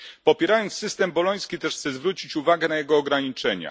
Popierając system boloński chciałbym też zwrócić uwagę na jego ograniczenia.